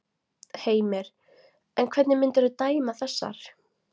Heimir: En hvernig myndirðu dæma þessar?